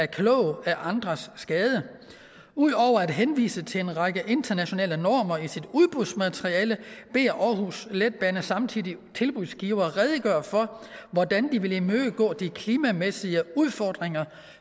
klog af andres skade ud over at henvise til en række internationale normer i sit udbudsmateriale beder aarhus letbane samtlige tilbudsgivere redegøre for hvordan de vil imødegå de klimamæssige udfordringer